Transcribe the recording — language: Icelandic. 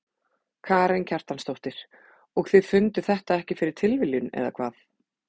Karen Kjartansdóttir: Og þið funduð þetta ekki fyrir tilviljun eða hvað?